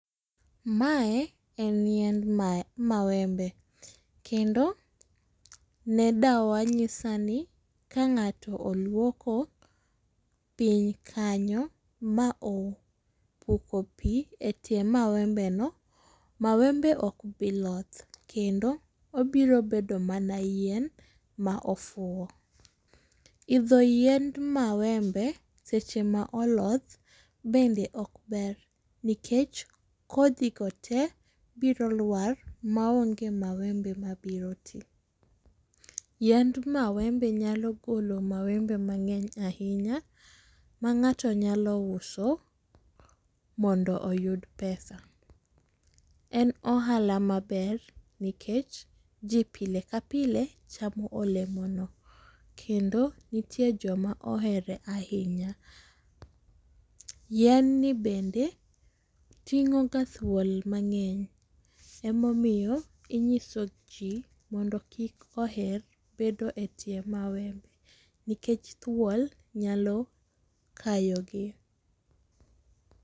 Mae en yiend mawembe, kendo ne dawa nyisa ni ka ng'ato olwoko piny kanyo ma opuko pi e tie mawembeno, mawembe ok bi loth kendo obiro bedo mana yien ma ofuwo. Idho yiend mawembe seche ma oloth bende ok ber nikech kodhigo te biro lwar ma onge mawembe mabiro ti. Yiend mawembe nyalo golo mawembe mang'eny ahinya ma ng'ato nyalo uso mondo oyud pesa. En ohala maber nikech ji pile ka pile chamo olemono, kendo nitie joma ohere ahinya, yienni bende ting'o ga thuol mang'eny emomiyo inyiso ji mondo kik oher bedo e tie mawembe nikech thuol nyalo kayogi.